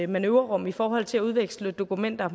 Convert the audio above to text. manøvrerum i forhold til at udveksle dokumenter